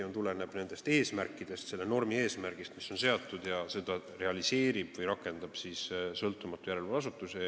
See tuleneb kindlasti selle normi eesmärgist, mis on seatud, ja seda realiseerib või rakendab sõltumatu järelevalveasutus.